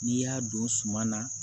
N'i y'a don suma na